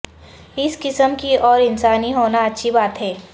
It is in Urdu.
اس قسم کی اور انسانی ہونا اچھی بات ہے